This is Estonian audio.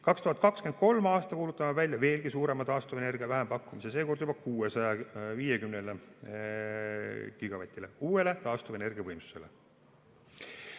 2023. aastal kuulutame välja veelgi suurema taastuvenergia vähempakkumise, seekord juba 650 gigavatile uuele taastuvenergiavõimsusele.